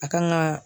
A kan ga